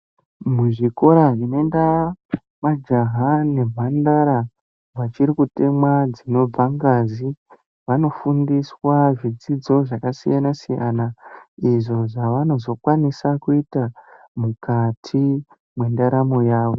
Muzvikoro zvinoenda majaha nemhandara vachiri kutemwa dzinobva ngazi vanofundiswa zvidzidzo zvakasiyana siyana izvo zvavanozokwanisa kuita mukati mwendaramo yavo.